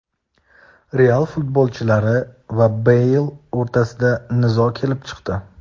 "Real" futbolchilari va Beyl o‘rtasida nizo kelib chiqdi.